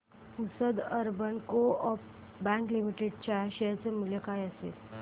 Pusad urban coop bank limited च्या share चे मूल्य काय असेल